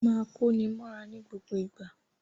Máa kóni mọ́ra ní gbogbo ìgbà!